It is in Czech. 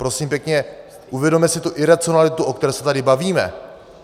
Prosím pěkně, uvědomme si tu iracionalitu, o které se tady bavíme.